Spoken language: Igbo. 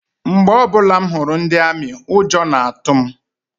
Mgbe ọbụla m hụrụ ndi amị, ụjọ na-atụ m.